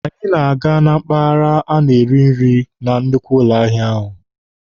Anyị na-aga na mpaghara a na-eri nri na nnukwu ụlọ ahịa ahụ.